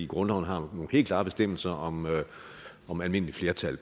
grundloven har nogle helt klare bestemmelser om om almindeligt flertal